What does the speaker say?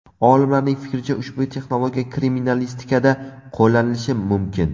Olimlarning fikricha, ushbu texnologiya kriminalistikada qo‘llanilishi mumkin.